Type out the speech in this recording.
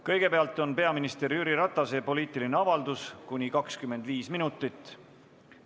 Kõigepealt on peaminister Jüri Ratase poliitiline avaldus kuni 25 minutit.